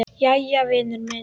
Jæja, vinur minn.